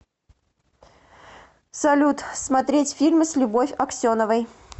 салют смотреть фильмы с любовь аксеновой